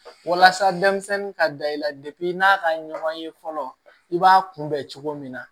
Walasa denmisɛnnin ka da i la n'a ka ɲɔgɔn ye fɔlɔ i b'a kunbɛ cogo min na